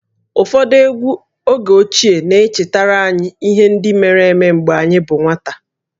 Ụfọdụ egwú oge ochie na-echetara anyị ihe ndị mere mgbe anyị bụ nwata